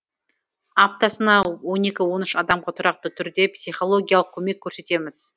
аптасына он екі он үш адамға тұрақты түрде психологиялық көмек көрсетеміз